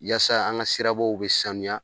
Yasa an ŋa sirabaw be sanuya